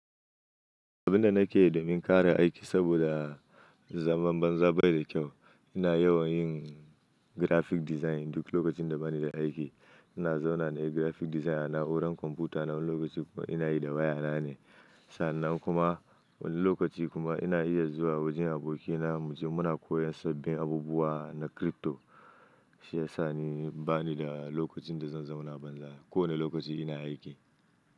Abin da nake yi domin ƙare aiki saboda zaman banza bai da kyau, ina yawan yin graphic design duk lokacin da bani da aiki. Ina zauna na yi graphic design a na'urar kwamfuta na wani lokaci kuma ina yi da waya na ne. Sannan kuma wani lokaci kuma ina iya zuwa wajen abokina mu je muna koyon sabbin abubuwa na crypto, shi yasa ni bani da lokacin da zan zauna banza ko wane lokaci ina aiki.